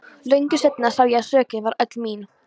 Löngu seinna sá ég að sökin var öll mín.